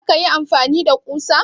Za ka yi amfani da kusa?